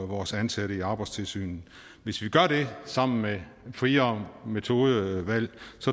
vores ansatte i arbejdstilsynet hvis vi gør det sammen med et friere metodevalg